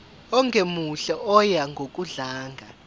ongemuhle oya ngokudlanga